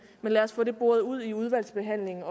lad os få det boret ud i udvalgsbehandlingen